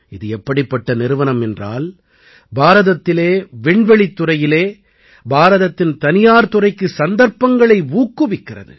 இது எப்படிப்பட்ட நிறுவனம் என்றால் பாரதத்திலே விண்வெளித்துறையிலே பாரதத்தின் தனியார் துறைக்கு சந்தர்ப்பங்களை ஊக்குவிக்கிறது